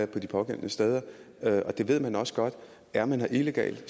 på de pågældende steder det ved man også godt er man her illegalt